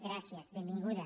gràcies benvinguda